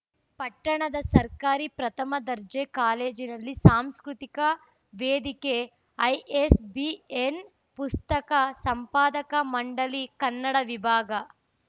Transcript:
ಪಟ್ಟಣದ ಸರ್ಕಾರಿ ಪ್ರಥಮ ದರ್ಜೆ ಕಾಲೇಜಿನಲ್ಲಿ ಸಾಂಸ್ಕೃತಿಕ ವೇದಿಕೆ ಐಎಸ್‌ಬಿಎನ್‌ ಪುಸ್ತಕ ಸಂಪಾದಕ ಮಂಡಳಿ ಕನ್ನಡ ವಿಭಾಗ